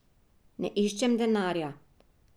Ne iščem denarja.